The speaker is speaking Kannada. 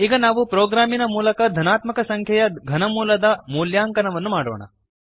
ಈಗ ನಾವು ಪ್ರೋಗ್ರಾಮಿನ ಮೂಲಕ ಧನಾತ್ಮಕ ಸಂಖ್ಯೆಯ ಘನಮೂಲದ ಮೂಲ್ಯಾಂಕನವನ್ನು ಮಾಡೋಣ